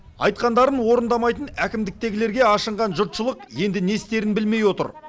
айтқандарын орындамайтын әкімдіктегілерге ашынған жұртшылық енді не істерін білмей отыр